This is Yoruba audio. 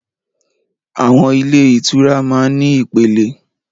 Àwọn ilé ìtura máa ń ní ìpẹlẹ.